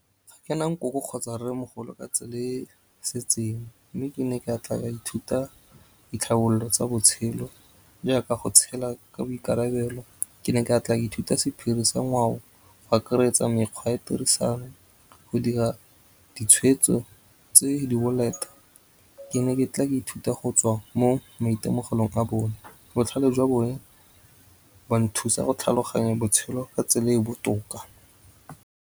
Kana nkoko kgotsa rremogolo ka tse le setseng, mme ke ne ke tla ka ithuta ditlhabololo tsa botshelo, jaaka go tshela ka boikarabelo. Ke ne ka ithuta sephiri sa ngwao, go akaretsa mekgwa ya tirisano go dira ditshwetso tse di boleta. Ke ne ke tla ka ithuta go tswa mo maitemogelong a bone. Botlhale jwa bone ba nthusa go tlhaloganya botshelo ka tsela e botoka.